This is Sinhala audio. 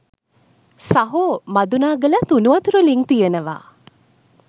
සහෝ මදුනාගලත් උණුවතුර ළිං තියෙනවා